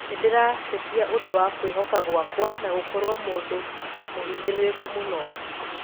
Nindirateita ũndũ wa kũihoka gwakwa na gũkorwo mũndũ mũhinyiririku muno